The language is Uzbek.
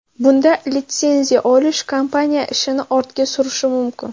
Bunda litsenziya olish kompaniya ishini ortga surishi mumkin.